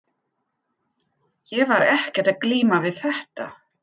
Ég var ekkert að glíma við þetta.